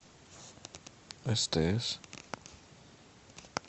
стс